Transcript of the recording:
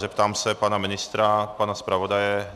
Zeptám se pana ministra, pana zpravodaje?